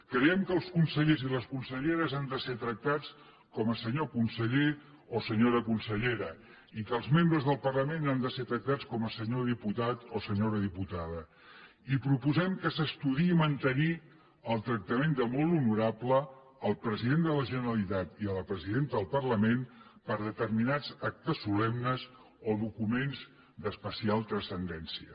creiem que els consellers i les conselleres han de ser tractats com a senyor conseller o senyora consellera i que els membres del parlament han de ser tractats com a senyor diputat o senyora diputada i proposem que s’estudiï mantenir el tractament de molt honorable al president de la generalitat i a la presidenta del parlament per a determinats actes solemnes o documents d’especial transcendència